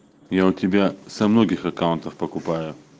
я у тебя со многих аккаунтов покупаю